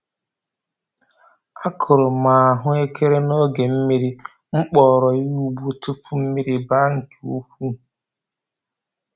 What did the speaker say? A kụrụ m ahụ ekere n'oge mmiri, m kpọrọ ya ugbo tupu mmiri baa nke ukwuu.